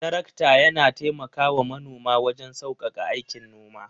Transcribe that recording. Tarakta yana taimakawa manoma waje saukaka aikin noma.